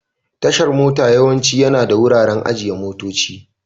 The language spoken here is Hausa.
Tashar mota yawanci yana da wuraren ajiye motoci.